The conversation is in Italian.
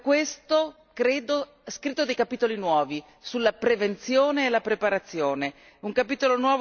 Abbiamo per questo, credo, scritto dei capitoli nuovi sulla prevenzione e la preparazione.